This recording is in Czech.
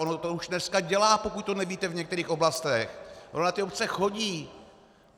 On to už dneska dělá, pokud to nevíte, v některých oblastech, on na ty obce chodí.